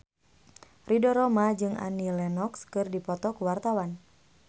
Ridho Roma jeung Annie Lenox keur dipoto ku wartawan